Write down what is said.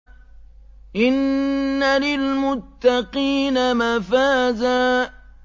إِنَّ لِلْمُتَّقِينَ مَفَازًا